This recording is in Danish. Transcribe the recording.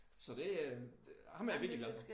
Så det øh ham er jeg virkelig glad for